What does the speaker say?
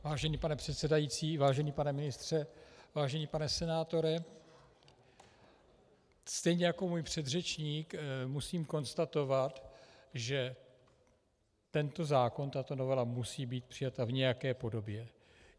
Vážený pane předsedající, vážený pane ministře, vážený pane senátore, stejně jako můj předřečník musím konstatovat, že tento zákon, tato novela musí být přijata v nějaké podobě.